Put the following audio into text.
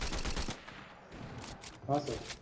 हां सर